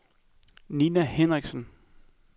Ninna Henriksen